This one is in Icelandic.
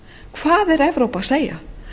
hvað er evrópa að segja